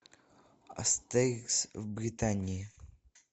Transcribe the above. астерикс в британии